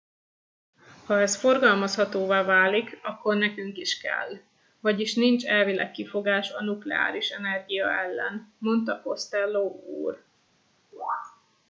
ha ez forgalmazhatóvá válik akkor nekünk is kell vagyis nincs elvileg kifogás a nukleáris energia ellen - mondta costello úr